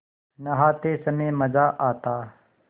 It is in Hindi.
नहाते समय मज़ा आता